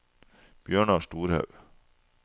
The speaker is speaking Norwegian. Bjørnar Storhaug